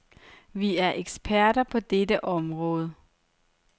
Vi er eksperter på dette område.